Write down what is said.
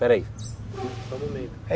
Peraí